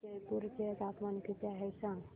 आज जयपूर चे तापमान किती आहे सांगा